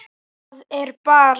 Það er bara.